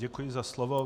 Děkuji za slovo.